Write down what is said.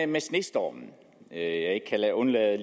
med snestormen jeg ikke kan undlade